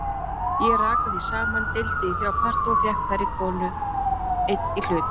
Ég rakaði því saman, deildi í þrjá parta og fékk hverri konu einn hlut.